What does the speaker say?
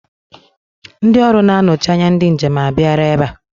Ndị ọrụ na-anọchi anya ndị njem a bịala ebe a.